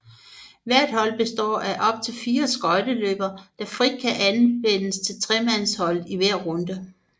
Hvert hold består af op til 4 skøjteløbere der frit kan anvendes til tremandsholdet i hver runde